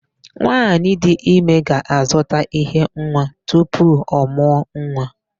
Nwaanyị dị ime ga-azụta íhé nwa tupu ọ mụọ nwa.